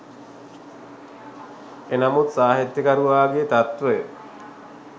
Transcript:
එනමුත් සාහිත්‍යකරුවාගේ තත්වය